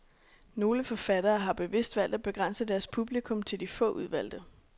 Nogle forfattere har bevidst valgt at begrænse deres publikum til de få udvalgte.